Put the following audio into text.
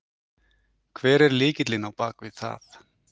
Hver er lykillinn á bakvið það?